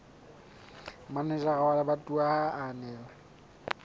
manejara wa lebatowa a ananela